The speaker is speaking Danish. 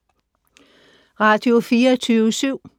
Radio24syv